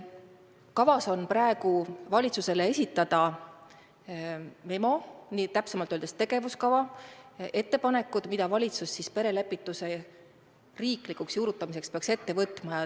Kavas on valitsusele esitada memo, täpsemalt öeldes tegevuskava ehk ettepanekud, mida valitsus perelepituse riiklikuks juurutamiseks peaks ette võtma.